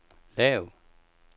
lav